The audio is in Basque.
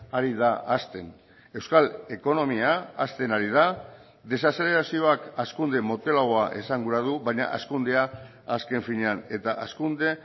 ari da hazten euskal ekonomia hazten ari da desazelerazioak hazkunde motelagoa esan gura du baina hazkundea azken finean eta hazkunde